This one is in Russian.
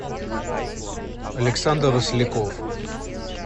александр росляков